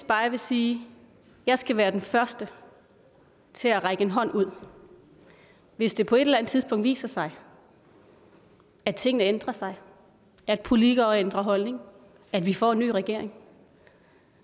bare sige jeg skal være den første til at række en hånd ud hvis det på et eller andet tidspunkt viser sig at tingene ændrer sig at politikere ændrer holdning at vi får en ny regering